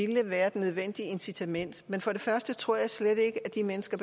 ville være det nødvendige incitament men for det første tror jeg slet ikke at de mennesker